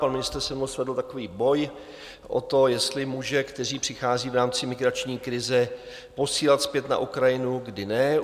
Pan ministr se mnou svedl takový boj o to, jestli muže, kteří přichází v rámci migrační krize, posílat zpět na Ukrajinu, kdy ne.